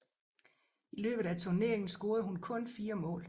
I løbet af turneringen scorede hun kun fire mål